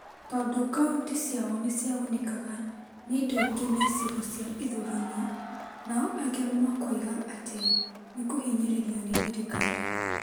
tondũ kauntĩ ciao nĩ ciagunĩkaga nĩ indo ingĩ na icigo cia ithurano, nao angĩ makoiga atĩ nĩ kũhinyĩrĩrio nĩ thirikari .